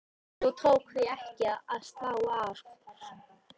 Nú tók því ekki að slá af.